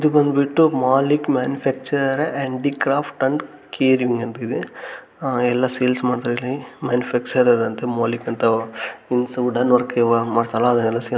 ಇದು ಬಂದ್ಬಿಟ್ಟು Malik manufacturer and the craft and carving ಅಂತ ಇದೆ ಎಲ್ಲ ಸೇಲ್ಸ್ ಮಾಡ್ತಾಇದ್ದಾರೆ ಮ್ಯಾನುಫ್ಯಾಕ್ಟ್ರ್ರ್ ರರ ಅಂತೇ ಮಲಿಕ್ ಅಂತ ಮೀನ್ಸ್ ವುಡನ್ ವರ್ಕ್ ಮಾಡ್ತಾರಲ್ಲ ಅದೆಲ್ಲ--